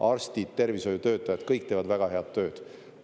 Arstid, tervishoiutöötajad, kõik teevad väga head tööd.